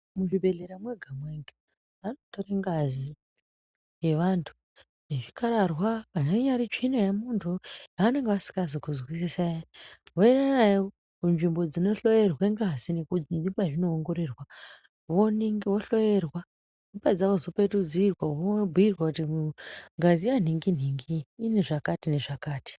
Muzvibhedhlera mwega mwega vanotora ngazi yevantu nezvikhararwa kana inyari tsvina yemuntu yavanenge vasina kunzwisisa iya voendanayo kunzvimbo dzinohloyerwa ngazi nekwazvinoongororwa wohloyerwa wopedza wozopetudzirwa wobhuyirwa kuti ngazi yanhingi nhingi ine zvakati nezvakati.